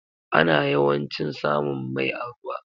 Ana yawancin samun mai a ruwa.